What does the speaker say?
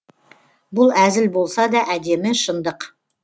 бұл әзіл болса да әдемі шындық